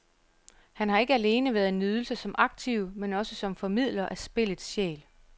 Han har ikke alene været en nydelse som aktiv, men også som formidler af spillets sjæl.